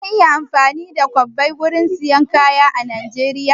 Zan iya amfani da kwabbai gurin siyan kaya a Najeriya?